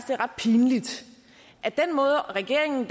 pinligt at regeringen